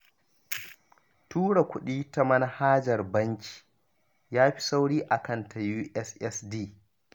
Tura kuɗi ta manhajar banki ya fi sauri a kan ta USSD